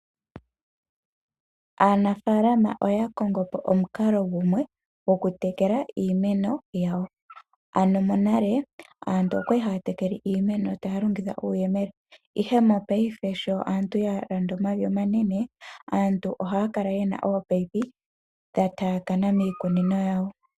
Aanafalama oya kongopo omukalo gumwe gwoku tekela iimeno yawo. Monale aantu okwali haya tekele iimeno taya longitha uuyemele, ihe ngashingeyi aantu shoya landa omavi omanene aantu ohaya kala yena ominino dhomeya dha taakana miikunino yawo.